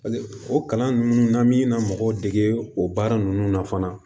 o kalan ninnu na an mi na mɔgɔw dege o baara nunnu na fana